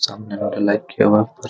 सामने वाले आवाज पर।